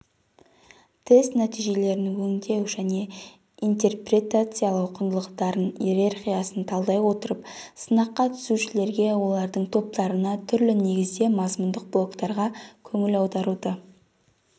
тест нәтижелерін өңдеу және интерпретациялау құндылықтардың иерархиясын талдай отырып сынаққа түсушілерге олардың топтарына түрлі негізде мазмұндық блоктарға көңіл аударуды